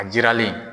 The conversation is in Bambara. A jiralen